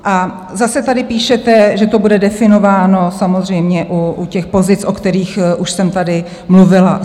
A zase tady píšete, že to bude definováno samozřejmě u těch pozic, o kterých už jsem tady mluvila.